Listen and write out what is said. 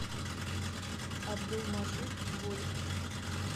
абдулмаджид голик